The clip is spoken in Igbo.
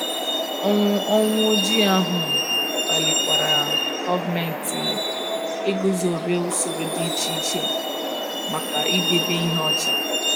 Ọnwụ Ọnwụ Ojii ahụ kpalikwara gọọmenti iguzobe ụsoro dị iche iche maka idebe ihe ọcha.